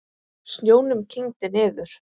Snjónum kyngdi niður.